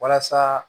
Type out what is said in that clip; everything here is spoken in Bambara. Walasa